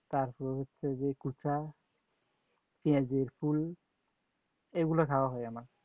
তারপর হচ্ছে যে কোঁচা, পেঁয়াজের ফুল এগুলা খাওয়া হয় আমার